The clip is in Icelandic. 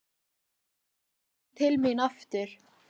Svo kom hann til mín aftur.